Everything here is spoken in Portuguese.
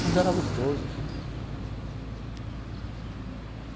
Mas era gostoso.